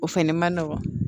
O fɛnɛ ma nɔgɔn